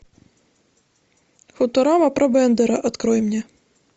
футурама про бендера открой мне